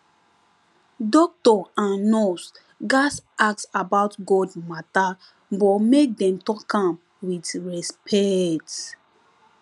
doctor and nurse gatz ask about god matter but make dem talk am with respect